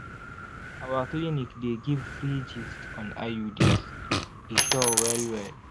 our clinic dey give free gist on iuds e sure well well!